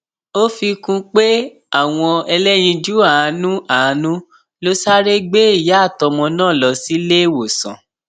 ó fi kún un pé àwọn ẹlẹyinjú àánú àánú ló sáré gbé ìyá àtọmọ náà lọ síléèwọsàn